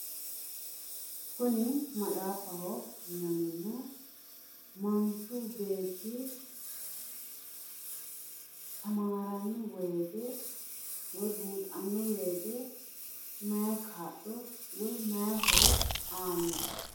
Kuni maxaafaho yinanniho manchu beetti tamaaranno woyiite woyi buuxanno woyiite maayi kaa'lo woyi maayi horo aanno?